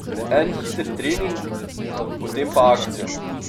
En hiter trening, potem pa akcija.